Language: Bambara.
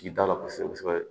Tigi t'a la kosɛbɛ kosɛbɛ